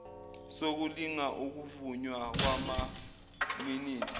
sokulinga ukuvunywa kwamaminithi